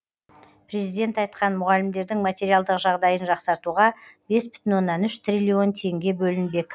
президент айтқан мұғалімдердің материалдық жағдайын жақсартуға бес бүтін оннан үш триллион теңге бөлінбек